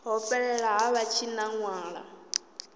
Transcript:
ḽo fhelela ha vha tshinanḓala